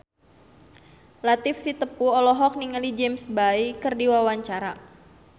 Latief Sitepu olohok ningali James Bay keur diwawancara